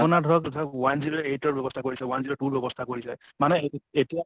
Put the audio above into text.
আপোনাৰ ধৰক one zero eight ৰ ব্যৱস্থা কৰিছে , one zero two ৰ ব্যৱস্থা কৰিছে । মানে এ এতিয়া